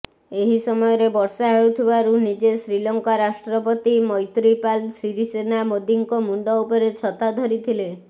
ଏହି ସମୟରେ ବର୍ଷା ହେଉଥିବାରୁ ନିଜେ ଶ୍ରୀଲଙ୍କା ରାଷ୍ଟ୍ରପତି ମୈତ୍ରିପାଲ ସିରିସେନା ମୋଦିଙ୍କ ମୁଣ୍ଡ ଉପରେ ଛତା ଧରିଥିଲେ